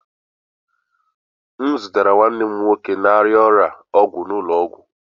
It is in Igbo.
M zụtara nwanne m nwoke na-arịa ọrịa ọgwụ n'ụlọ ọgwụ.